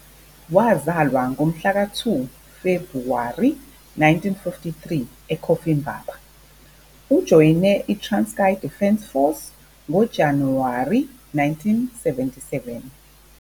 Wazalwa ngomhlaka 2 Febhuwari 1953 eCofimvaba. Ujoyine iTranskei Defence Force ngoJanuwari 1977.